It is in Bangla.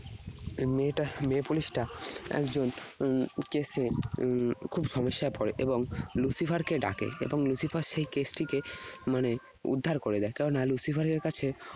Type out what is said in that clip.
মেয়েটা, মেয়ে police টা একজন উম case এ উম খুব সমস্যায় পরে এবং Lucifer কে ডাকে। এবং Lucifer সেই case টিকে মানে উদ্ধার করে দেয়। কেননা Lucifer এর কাছে